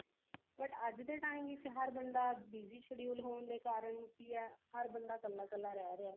but ਅੱਜ ਦੇ time ਵਿੱਚ ਹਰ ਬੰਦਾ BZY schedule ਹੋਣ ਦੇ ਕਾਰਨ ਕੀ ਹੈ ਹਰ ਬੰਦਾ ਕੱਲਾ ਕੱਲਾ ਰਿਹ ਰਿਹਾ